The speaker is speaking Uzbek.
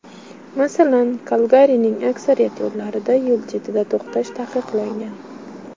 Masalan, Kalgarining aksariyat yo‘llarida yo‘l chetida to‘xtash taqiqlangan.